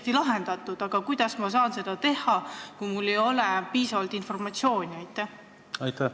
Kuidas ma saan pakkuda muid katteallikaid, kui mul ei ole piisavalt informatsiooni?